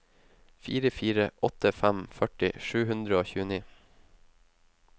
fire fire åtte fem førti sju hundre og tjueni